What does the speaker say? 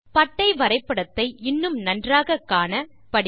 பட்டை வரைபடத்தை இன்னும் நன்றாக காண படிக்க